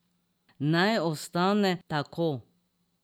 Naj ostane tako.